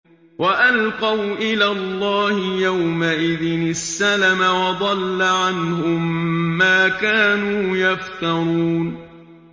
وَأَلْقَوْا إِلَى اللَّهِ يَوْمَئِذٍ السَّلَمَ ۖ وَضَلَّ عَنْهُم مَّا كَانُوا يَفْتَرُونَ